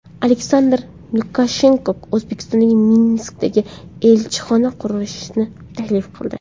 Aleksandr Lukashenko O‘zbekistonga Minskda elchixona qurishni taklif qildi.